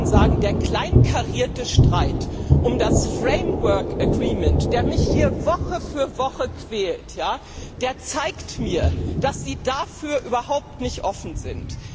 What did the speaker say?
Und ich kann Ihnen sagen, der kleinkarierte Streit um das Rahmenübereinkommen, der mich hier Woche für Woche quält, der zeigt mir, dass Sie dafür überhaupt nicht offen sind.